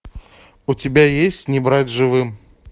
у тебя есть не брать живым